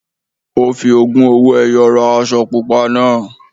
Ó fi ogún owó-ẹyọ ra aṣọ pupa náà.